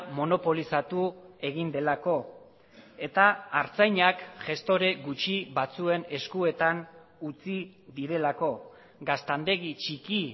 monopolizatu egin delako eta artzainak gestore gutxi batzuen eskuetan utzi direlako gaztandegi txiki